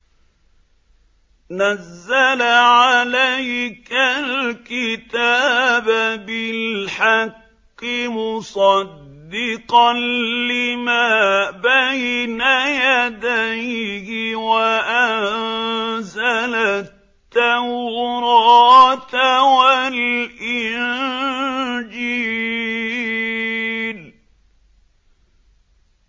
نَزَّلَ عَلَيْكَ الْكِتَابَ بِالْحَقِّ مُصَدِّقًا لِّمَا بَيْنَ يَدَيْهِ وَأَنزَلَ التَّوْرَاةَ وَالْإِنجِيلَ